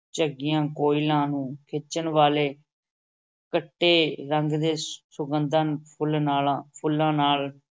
ਝੰਗੀਆਂ ਕੋਇਲਾਂ ਨੂੰ ਖਿੱਚਣ ਵਾਲੇ ਖੱਟੇ ਰੰਗ ਦੇ ਸੁਗੰਧਾਂ ਫੁੱਲ ਨਾਲਾ ਫੁੱਲਾਂ ਨਾਲ,